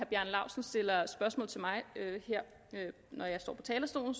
bjarne laustsen stiller spørgsmål til mig når jeg står på talerstolen